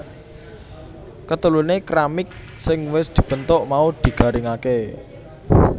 Keteluné keramik sing wis dibentuk mau digaringaké